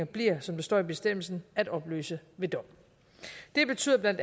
bliver som der står i bestemmelsen at opløse ved dom det betyder bla